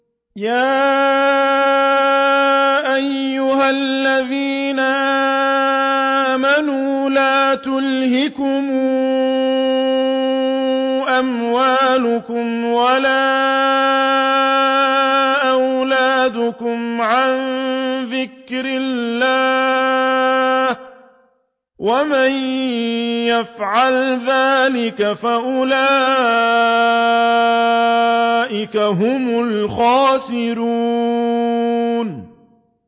يَا أَيُّهَا الَّذِينَ آمَنُوا لَا تُلْهِكُمْ أَمْوَالُكُمْ وَلَا أَوْلَادُكُمْ عَن ذِكْرِ اللَّهِ ۚ وَمَن يَفْعَلْ ذَٰلِكَ فَأُولَٰئِكَ هُمُ الْخَاسِرُونَ